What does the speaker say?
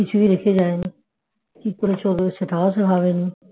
কিছুই রেখে যায় নি কি করে চলবে সেটাও অবশ্য হবে না